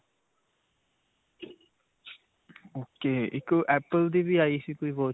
ok. ਇੱਕ apple ਦੀ ਵੀ ਆਈ ਸੀ ਕੋਈ watch?